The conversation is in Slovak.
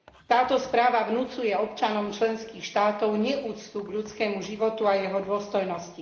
Táto správa vnucuje občanom členských štátov neúctu k ľudskému životu a jeho dôstojnosti.